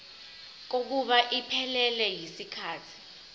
kokuba iphelele yisikhathi